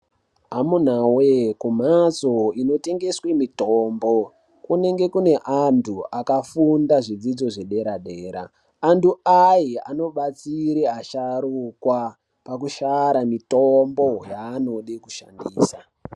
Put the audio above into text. Amunawee kumhatso inotengeswe mitombo kunenge kune antu akafunda zvidzidzo zvedera-dera. Antu aya anobatsire asharukwa pakushara mitombo yanode kushandisa.